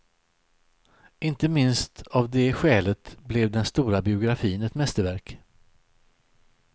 Inte minst av det skälet blev den stora biografin ett mästerverk.